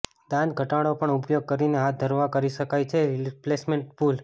દાંત ઘટાડો પણ ઉપયોગ કરીને હાથ ધરવામાં કરી શકાય છે રિપ્લેસમેન્ટ પુલ